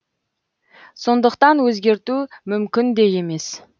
сондықтан өзгерту мүмкін де емес